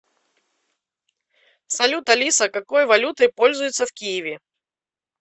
салют алиса какой валютой пользуются в киеве